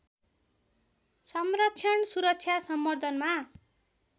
संरक्षण सुरक्षा सम्बर्द्धनमा